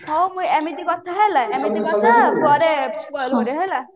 ହଉ ମୁଁ